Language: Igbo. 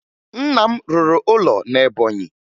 Nna m rụrụ ụlọ na Ebọnyị